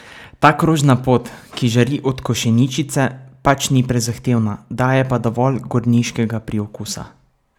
Ta krožna pot, ki žari od košeničice, pač ni prezahtevna, daje pa dovolj gorniškega priokusa.